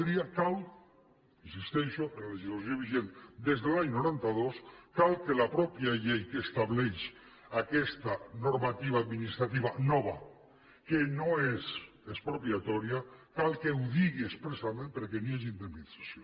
hi insisteixo en la legislació vigent des de l’any noranta dos cal que la mateixa llei que estableix aquesta normativa administrativa nova que no és expropiatòria cal que ho digui expressament perquè hi hagi indemnització